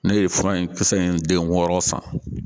Ne ye fura in kisɛ in den wɔɔrɔ san